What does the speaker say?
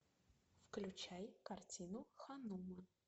включай картину ханума